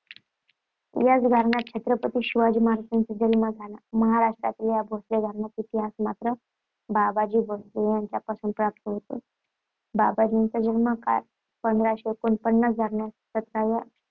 याच घराण्यात छत्रपती शिवाजी महाराजांचा जन्म झाला. महाराष्ट्रातील या भोसले घराण्याचा इतिहास मात्र बाबाजी भोसले यांच्यापासून प्राप्त होतो. बाबाजींचा जन्मकाळ पंधराशे एकोणपन्नास धरल्यास सतराव्या